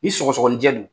Ni sɔgɔsɔgɔnijɛ don